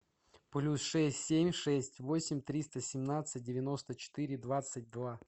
плюс шесть семь шесть восемь триста семнадцать девяносто четыре двадцать два